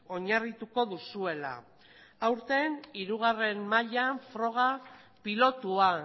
oinarrituko duzuela aurten hirugarrena mailan froga pilotua